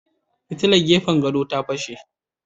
Fitilar gefen gado ta fashe.